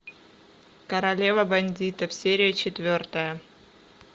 королева бандитов серия четвертая